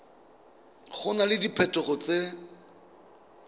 go na le diphetogo tse